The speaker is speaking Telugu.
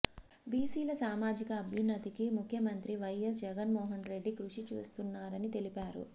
బీసీల సామాజిక అభ్యున్నతికి ముఖ్యమంత్రి వైఎస్ జగన్మోహన్రెడ్డి కృషి చేస్తున్నారని తెలిపారు